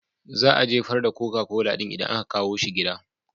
Za a jefar da koka kola ɗin idan aka kawo shi gida.